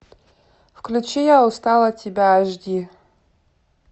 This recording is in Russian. включи я устал от тебя аш ди